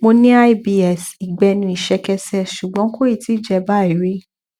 mo ní ibs ìgbẹnu ìṣẹkẹsẹ ṣùgbọn kò tíì jẹ báyìí rí